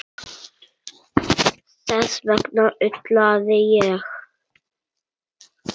Þess vegna ullaði ég.